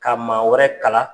Ka maa wɛrɛ kala